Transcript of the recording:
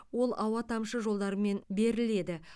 ол ауа тамшы жолдарымен беріледі